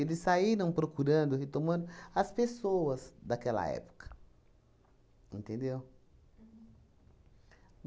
Eles saíram procurando, retomando as pessoas daquela época, entendeu?